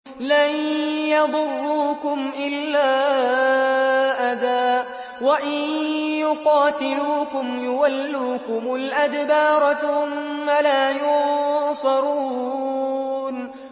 لَن يَضُرُّوكُمْ إِلَّا أَذًى ۖ وَإِن يُقَاتِلُوكُمْ يُوَلُّوكُمُ الْأَدْبَارَ ثُمَّ لَا يُنصَرُونَ